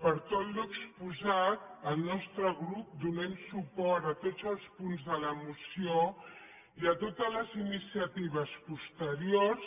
per tot l’exposat el nostre grup donem suport a tots els punts de la moció i a totes les iniciatives posteriors